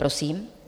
Prosím.